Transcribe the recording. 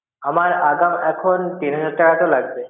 আমার এখন আগাম এখন তিন হাজার টাকা তো লাগবে.